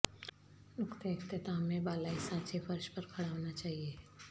نقطہ اختتام میں بالائی سانچے فرش پر کھڑا ہونا چاہئے